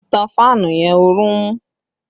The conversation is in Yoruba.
On the fan! There is heat!